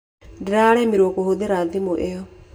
Nĩndĩraremirwo kũhũthĩra thimũ ĩyo.